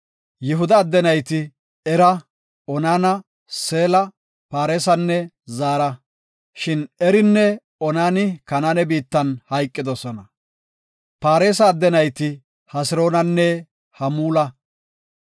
Yihuda adde nayti Era, Onaana, Seela, Paaresanne Zaara. Shin Erinne Onani Kanaane biittan hayqidosona. Paaresa adde nayti Hesiroonanne Hamuula.